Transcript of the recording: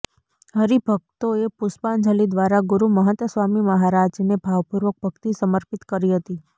હરિભકતોએ પુષ્પાંજલી દ્વારા ગુરુ મહંત સ્વામી મહારાજને ભાવપૂર્વક ભકિત સમર્પિત કરી હતી